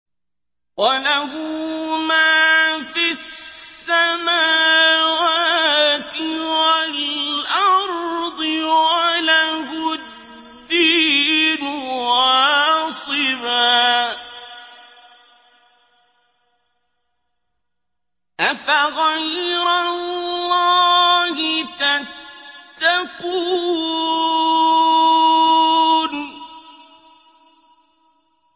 وَلَهُ مَا فِي السَّمَاوَاتِ وَالْأَرْضِ وَلَهُ الدِّينُ وَاصِبًا ۚ أَفَغَيْرَ اللَّهِ تَتَّقُونَ